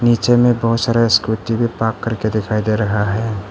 नीचे में बहुत सारे स्कूटी भी पार्क करके दिखाई दे रहा है।